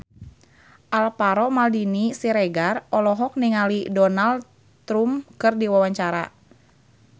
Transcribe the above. Alvaro Maldini Siregar olohok ningali Donald Trump keur diwawancara